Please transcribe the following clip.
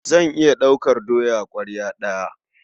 Zan iya ɗaukar doya ƙwarya ɗaya.